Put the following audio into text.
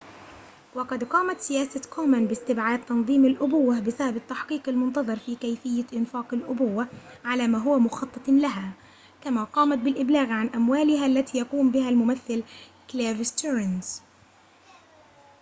وقد قامت سياسة كومان باستبعاد تنظيم الأبوة بسبب التحقيق المنتظر في كيفية إنفاق الأبوة على ما هو مخطط لها كما قامت بالإبلاغ عن أموالها التي يقوم بها الممثل كليف ستيرنز